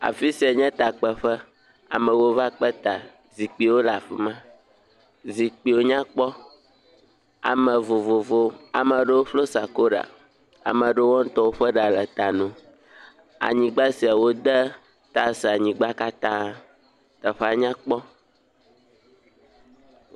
Afi sia nye takpeƒe amewo va kpe ta. Zikpuiwo le afi ma. Zikpuiwo nya kpɔ. Ame vovovowo, amewo ƒlo sakora, ame aɖewo wo ŋutɔ ƒe ɖa le ta na wo. Anyigba sia wode tals anyigba katã. Teƒea nya kpɔ.